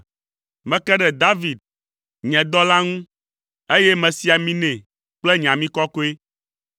Meke ɖe David, nye dɔla ŋu, eye mesi ami nɛ kple nye ami kɔkɔe.